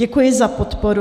Děkuji za podporu.